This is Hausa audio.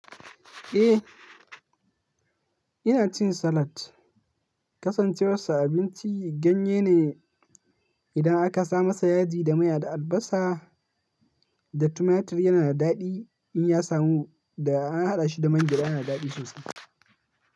Eh ina cin salat. Kasancewar sa abinci ganye ne, idan aka sa masa yaji da mai da albasa da tumatir yana da daɗi. In ya samu da an haɗa shi da mangyaɗa yana da daɗi sosai.